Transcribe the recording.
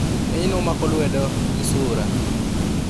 Ng'enyne omako luedo, gi sura